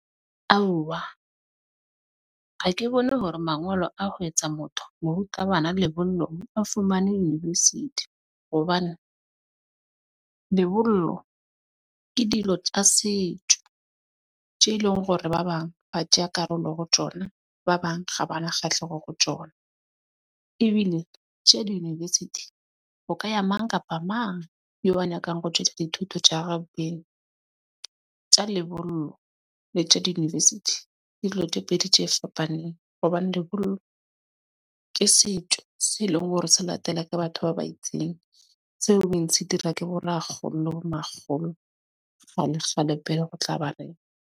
Aowa ha ke bone hore mangolo a ho etsa motho morutabana mo lebollong a fumane university hobane lebollo ke dilo tsa setjo tje e leng hore hore ba bang ho tseya karolo ho tjona ba bang ha ba na kgahleho ho tjona ebile tje di-university. Ho ka ya mang kapa mang eo a nyakang ho tjwetsa dithuto. Tja lebollo le tje di- university di dilo tje pedi tje e fapaneng hobane lebollo ke setjo se leng hore se latele ka batho ba ba itseng, tseo bontsi dira ke bo rakgolo le bo makgolo tlaba reng.